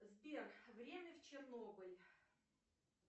сбер время в чернобыль